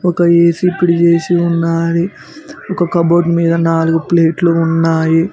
ఒక ఏ_సి ఇక్కడ ఏ_సి ఉన్నాది ఒక కబోర్డ్ మీద నాలుగు ప్లేట్లు ఉన్నాయి.